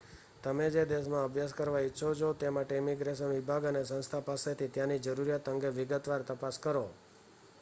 તમે જે દેશમાં અભ્યાસ કરવા ઈચ્છો છો તે માટે ઈમિગ્રેશન વિભાગ અને સંસ્થા પાસેથી ત્યાંની જરૂરિયાત અંગે વિગતવાર તપાસ કરો